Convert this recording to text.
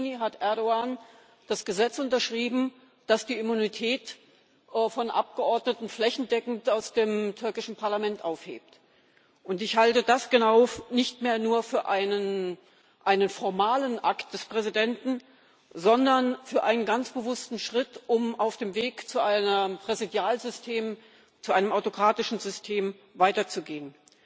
7. Juni hat Erdoğan das Gesetz unterschrieben, das die Immunität von Abgeordneten flächendeckend aus dem türkischen Parlament aufhebt. Ich halte genau das nicht mehr nur für einen formalen Akt des Präsidenten, sondern für einen ganz bewussten Schritt, um auf dem Weg zu einem Präsidialsystem, zu einem autokratischen System weiterzugehen.